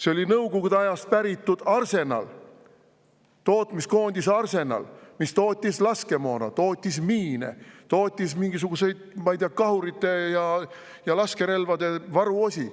See oli Nõukogude Liidu ajast päritud tootmiskoondis Arsenal, mis tootis laskemoona, miine ja mingisuguseid, ma ei tea, kahurite ja laskerelvade varuosi.